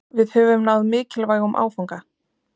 Við höfum náð mikilvægum áfanga